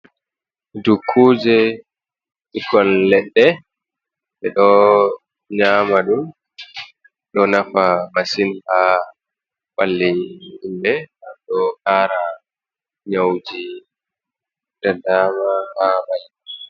Dukuje ɓikkoi leɗɗe ɓe ɗo nyama ɗum ɗo nafa masin ha ɓalle himɓe ɗo kara nyawuji da dama ha mai.